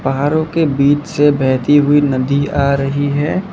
पहाड़ो के बीच से बहती हुई नदी आ रही है।